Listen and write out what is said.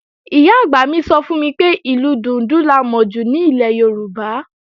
Ìyá-àgbà mi sọ fún mi pé, ìlù dùndún la mọ jù ní ilẹ̀ Yorùbá